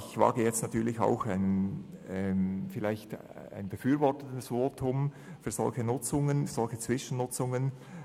Ich wage jetzt auch ein befürwortendes Votum für solche Zwischennutzungen.